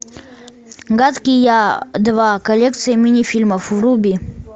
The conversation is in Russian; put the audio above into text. гадкий я два коллекция мини фильмов вруби